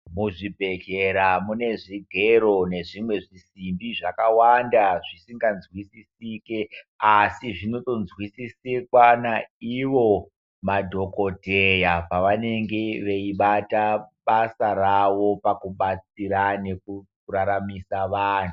Muzvibhedhlera mune zvigero neumwe zvisimbi zvakawanda zvisinganzwisisiki asi zvinonzwisisiwa naivo madhokodheya panenge achibatwa basa rawo panenge achibatira nekubatsira vantu.